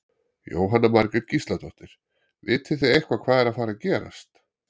Jóhanna Margrét Gísladóttir: Vitið þið eitthvað hvað er að fara að gerast?